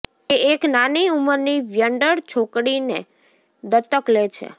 તે એક નાની ઉંમરની વ્યંડળ છોકરીને દત્તક લે છે